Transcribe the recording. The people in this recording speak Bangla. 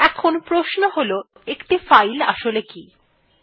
এখন প্রশ্ন হল একটি ফাইল আসলে কি160